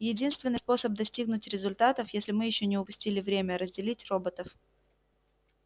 единственный способ достигнуть результатов если мы ещё не упустили время разделить роботов